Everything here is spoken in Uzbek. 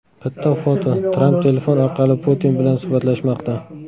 Bitta foto: Tramp telefon orqali Putin bilan suhbatlashmoqda.